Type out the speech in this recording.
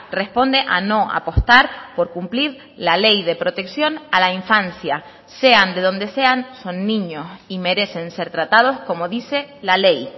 responde a no apostar por cumplir la ley de protección a la infancia sean de donde sean son niños y merecen ser tratados como dice la ley